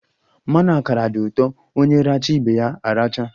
Mmanụ akara di ụtọ, onye racha ibe ya aracha